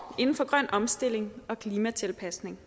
inden for grøn omstilling og klimatilpasning